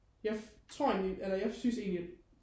jeg tror egentlig eller jeg synes egentlig